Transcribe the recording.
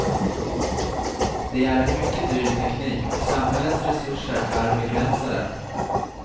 Det är en mycket dyr teknik och samhällets resurser är begränsade.